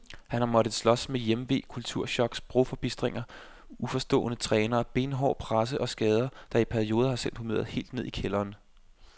Han har måttet slås med hjemve, kulturchok, sprogforbistringer, uforstående trænere, benhård presse og skader, der i perioder har sendt humøret helt ned i kælderen.